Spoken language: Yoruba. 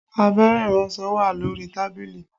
Abẹ́rẹ́ iransọ wà lórí tábìlì